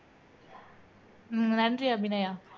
உம் நன்றி அபிநயா